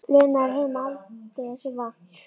Lena var heima aldrei þessu vant.